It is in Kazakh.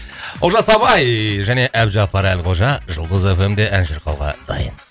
олжас абай және әбдіжаппар әлқожа жұлдыз эф эм де ән шырқауға дайын